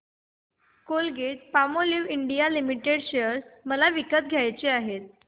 Colgate Palmolive India limited share मला विकत घ्यायचे आहेत